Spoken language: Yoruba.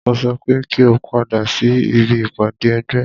Mo sọ pé kí o padà sí ibi ìpàdé ẹgbẹ́!